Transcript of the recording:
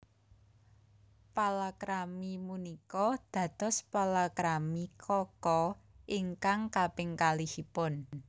Palakrami punika dados palakrami Kaka ingkang kaping kalihipun